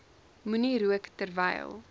moenie rook terwyl